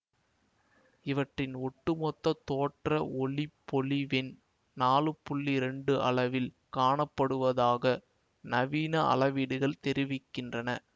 இவற்றின் ஒட்டுமொத்த தோற்ற ஒளிப்பொலிவெண் நாலு புள்ளி இரண்டு அளவில் காணப்படுவதாக நவீன அளவீடுகள் தெரிவிக்கின்றன